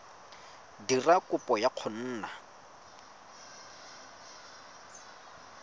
dira kopo ya go nna